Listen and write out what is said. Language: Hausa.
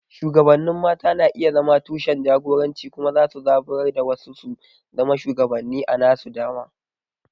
Shugabannin mata na iya zama tushen jagoranci kuma za su iya zaburar da wasu su zama shugabanni a nasu dama.